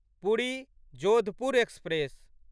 Puri Jodhpur express